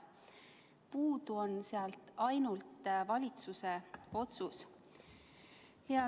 Puudu on ainult valitsuse otsus.